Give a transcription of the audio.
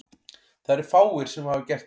Það eru fáir sem hafa gert það.